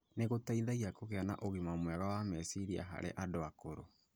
nĩ gũteithagia kũgĩa na ũgima mwega wa meciria harĩ andũ akũrũ.